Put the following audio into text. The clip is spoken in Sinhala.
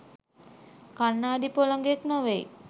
කණ්ණාඩි පොළඟෙක් නෙවෙයි